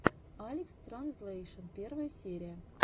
алекстранзлэйшн первая серия